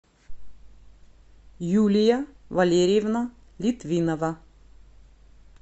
юлия валерьевна литвинова